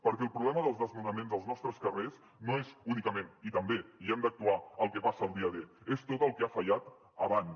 perquè el problema dels desnonaments als nostres carrers no és únicament i també i hi hem d’actuar el que passa el dia d és tot el que ha fallat abans